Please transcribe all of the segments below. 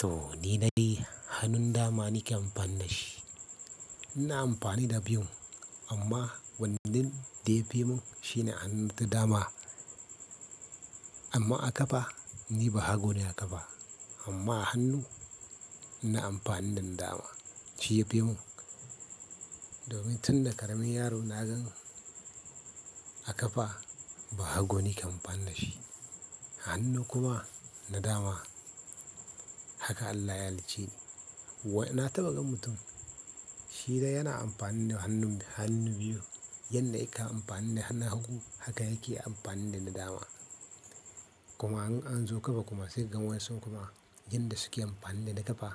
To ni dai hannun dama nake amfana da shi. Ina amfani da biyun amma wannan da ya fi mun shi ne hanun ta dama. Amma a ƙafa ni bahago ne a ƙafa amma hannu ina amfani da dama shi yafi mun. Domin tunda ƙaramin yaro na gan a ƙafa bahago nake amfani da shi. Hannu kuma na dama haka Allah ya halicce ni. Wa ina taɓa gan mutum shi dai yana amfani da hannun hannu biyu yanda aka amfani da hannun hagu haka yake amfani da na dama. Kuma in an zo ƙafa kuma sai ka gan wayansun kuma yanda suke amfani da na ƙafa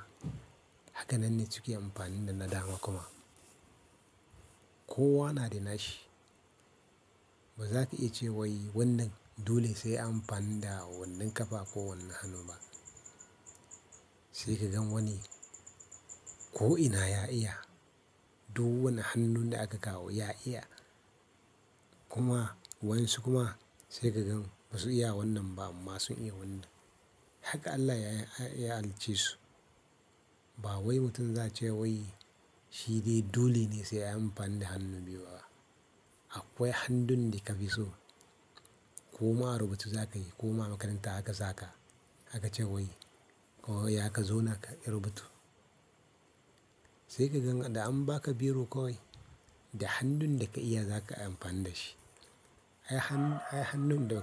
haka nan ne suke amfani da na dama kuma. Kowa na da nashi baza ka iya ce wai wannan dole sai an amfani da wannan ƙafa ko wannan hannu ba. Sai ka gan wani ko ina ya iya, duk wani hannun da aka kawo ya iya. Kuma waƴansu kuma sai ka gan ba su iya wannan ba amma sun iya wannan. Haka Allah ya halicce su. Ba wai mutum za ce wai shi dai dole ne sai ayi amfani da hannu biyu ba. Akwai hannun da ka fi so. Koma a rubutu zaka yi koma a makaranta aka saka aka ce wai ko ya ka zauna ka yi rubutu. Sai ka gan da an baka biro kawai da hannun da ka iya zaka iya amfani da shi. Ai hannun da.